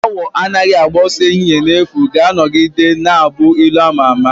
"Awọ anaghị agba ọsọ n'ehihie n'efu" ga-anọgide na-abụ ilu ama ama